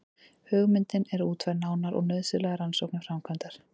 Hugmyndin er útfærð nánar og nauðsynlegar rannsóknir framkvæmdar.